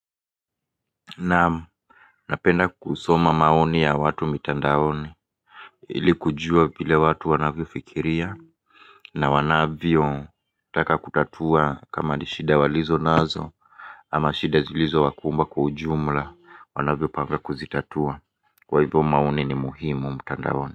Naam, napenda kusoma maoni ya watu mitandaoni ili kujua vile watu wanavyo fikiria na wanavyo taka kutatua kama ni shida walizo nazo ama shida zilizo wakumba kwa ujumla wanavyo panga kuzitatua. Kwa hivyo maoni ni muhimu mtandaoni.